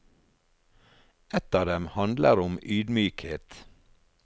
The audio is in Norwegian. Et av dem handler om ydmykhet.